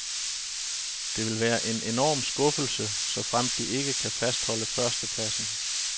Det vil være en enorm skuffelse, såfremt de ikke kan fastholde førstepladsen.